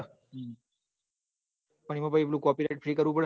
ઈમો પાહી copyright થી કરવું પડે